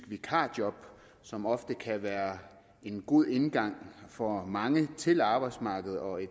vikarjob som ofte kan være en god indgang for mange til arbejdsmarkedet og i